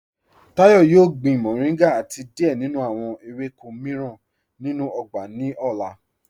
Táyọ̀ yóò gbìn mọ̀ríngà àti díẹ̀ nínú awọn èwékọ̀ míìràn nínú ọgbà ni ọlá.